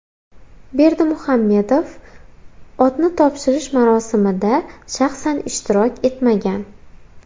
Berdimuhammedov otni topshirish marosimida shaxsan ishtirok etmagan.